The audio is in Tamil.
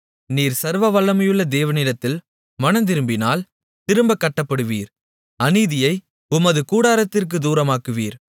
நீர் சர்வவல்லமையுள்ள தேவனிடத்தில் மனந்திரும்பினால் திரும்பக் கட்டப்படுவீர் அநீதியை உமது கூடாரத்திற்குத் தூரமாக்குவீர்